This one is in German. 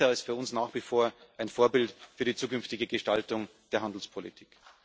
CETA ist für uns nach wie vor ein Vorbild für die zukünftige Gestaltung der Handelspolitik.